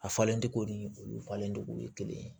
A falencogo ni olu falen cogo ye kelen ye